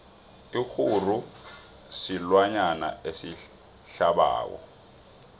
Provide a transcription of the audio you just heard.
ikguru silwanyana esihlabako